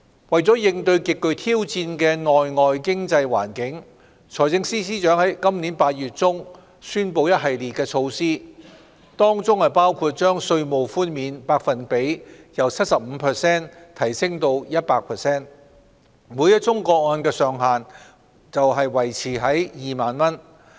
為應對極具挑戰的內外經濟環境，財政司司長在今年8月中宣布一系列措施，當中包括將稅務寬免百分比由 75% 提升至 100%， 每宗個案的上限則維持在2萬元。